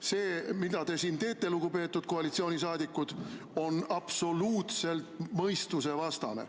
See, mida te siin teete, lugupeetud koalitsioonisaadikud, on absoluutselt mõistusevastane.